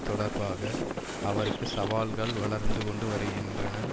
தொடர்பாக அவருக்கு சவால்கள் வளர்ந்து கொண்டு வருகின்றன